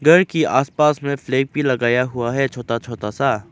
घर की आसपास में फ्लैग भी लगाया हुआ है छोटा छोटा सा।